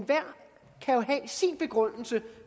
have sin begrundelse